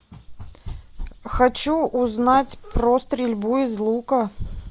хочу узнать про стрельбу из лука